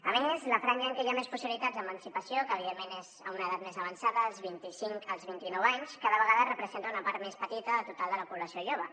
a més la franja en què hi ha més possibilitats d’emancipació que evidentment és a una edat més avançada dels vint i cinc als vint i nou anys cada vegada representa una part més petita del total de la població jove